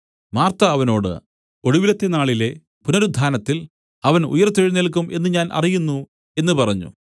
Martha അവനോട് ഒടുവിലത്തെ നാളിലെ പുനരുത്ഥാനത്തിൽ അവൻ ഉയിർത്തെഴുന്നേല്ക്കും എന്നു ഞാൻ അറിയുന്നു എന്നു പറഞ്ഞു